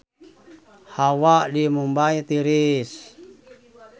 Hawa di Mumbay tiris